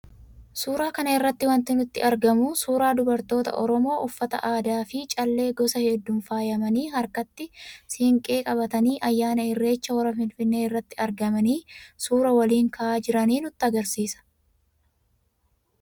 Suuraa kana irraa wanti nutti argamu, suuraa dubartoota Oromoo uffata aadaa fi callee gosa hedduun faayamanii harkatti siinqee qabatanii ayyaana irreechaa hora Finfinnee irratti argamanii suuraa waliin ka'aa jiranii nutti argisiisa.